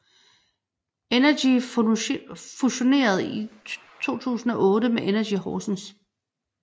NRGi fusionerede i 2008 med Energi Horsens